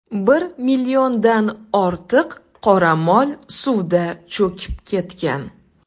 Bir milliondan ortiq qoramol suvda cho‘kib ketgan.